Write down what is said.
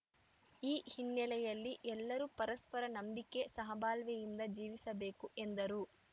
ಈ ಹಿನ್ನೆಲೆಯಲ್ಲಿ ಎಲ್ಲರೂ ಪರಸ್ಪರ ನಂಬಿಕೆ ಸಹಬಾಳ್ವೆಯಿಂದ ಜೀವಿಸಬೇಕು ಎಂದರು